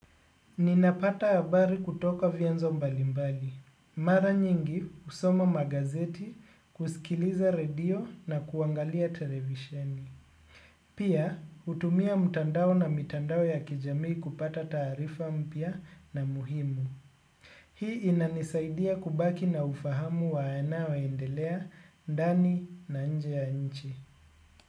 Ninapata habari kutoka vyanzo mbalimbali. Mara nyingi husoma magazeti, kusikiliza radio na kuangalia televisheni. Pia, hutumia mtandao na mitandao ya kijamii kupata taarifa mpya na muhimu. Hii inanisaidia kubaki na ufahamu wayanayo endelea, ndani na nje ya nchi.